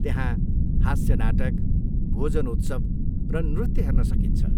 त्यहाँ हास्य नाटक, भोजन उत्सव र नृत्य हेर्न सकिन्छ।